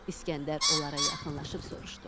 İskəndər onlara yaxınlaşıb soruşdu: